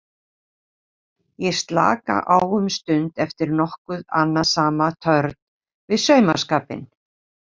Ég slaka á um stund eftir nokkuð annasama törn við saumaskapinn.